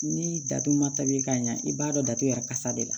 Ni datu ma ta bi ka ɲɛ i b'a dɔn datu yɛrɛ kasa de la